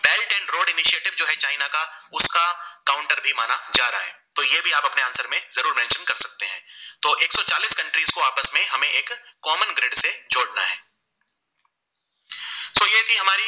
Common Grid